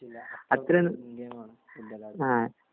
ആവിശ്യമില്ല അത്രേം ഫുഡെല്ലാം